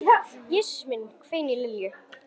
Jesús minn hvein í Lillu.